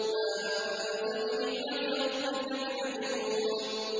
مَا أَنتَ بِنِعْمَةِ رَبِّكَ بِمَجْنُونٍ